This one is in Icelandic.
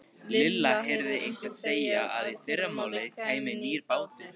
Lilla heyrði einhvern segja að í fyrramálið kæmi nýr bátur.